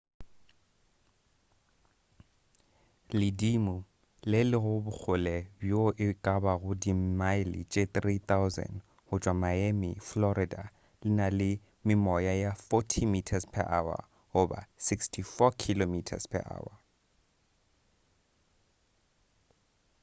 ledimo le lego bokgole bjo e ka bago di mile tše 3000 go tšwa miami florida le na le memoya ya 40 mph 64 kph